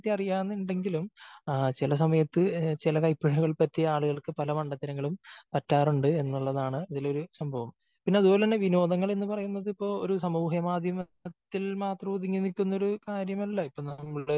അറിയാന്നുണ്ടെങ്കിലും ആ ചില സമയത്ത് ചില കൈപ്പിഴകൾ പറ്റിയ ആളുകൾക്ക് പല മണ്ടത്തരങ്ങളും പറ്റാറുണ്ട് എന്നുള്ളതാണ് അതിലൊരു സംഭവം. പിന്നെ അത്പോലെ തന്നെ വിനോദങ്ങള് എന്ന് പറയുന്നത് ഇപ്പോ ഒരു സാമൂഹ്യ മാധ്യമത്തിൽ മാത്രം ഒതുങ്ങി നില്ക്കുന്ന ഒരു കാര്യമല്ല. ഇപ്പോ നമ്മള്